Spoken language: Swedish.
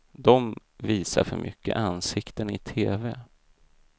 De visar för mycket ansikten i tv.